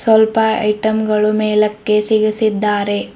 ಸ್ವಲ್ಪ ಐಟಂ ಗಳು ಮೇಲಕ್ಕೆ ಸಿಗಿಸಿದ್ದಾರೆ.